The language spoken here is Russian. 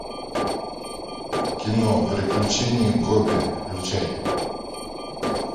кино приключения гобби включай